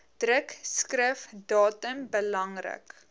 drukskrif datum belangrik